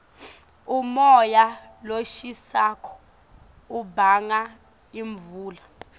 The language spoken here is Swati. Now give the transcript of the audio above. umoya loshisako ubanga imvula